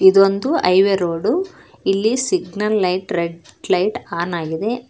ಇದೊಂದು highway road ಇಲ್ಲಿ signal light red light on ಆಗಿದೆ.